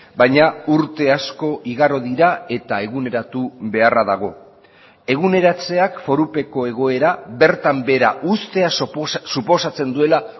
baina urte asko igaro dira eta eguneratu beharra dago eguneratzeak forupeko egoera bertan behera ustea suposatzen duela